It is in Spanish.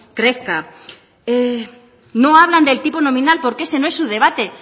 crezca no hablan del tipo nominal porque ese no es su debate